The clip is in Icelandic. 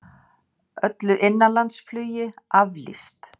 Öllu innanlandsflugi aflýst